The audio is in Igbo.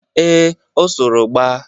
Ee, o soro gba